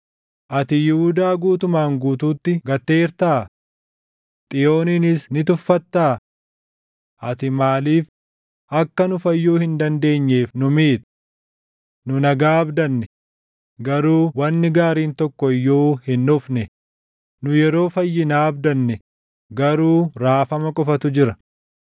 Ati Yihuudaa guutumaan guutuutti gatteertaa? Xiyooniinis ni tuffattaa? Ati maaliif akka nu fayyuu hin dandeenyeef nu miita? Nu nagaa abdanne; garuu wanni gaariin tokko iyyuu hin dhufne; nu yeroo fayyinaa abdanne; garuu raafama qofatu jira.